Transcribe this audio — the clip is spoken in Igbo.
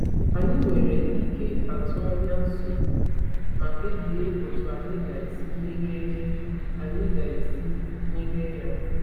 Anyị nwere ike atụ anya nsogbu ma kpebie otu anyị ga-esi merie anyị ga-esi merie ya.